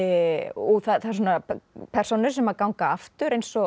og það eru persónur sem ganga aftur eins og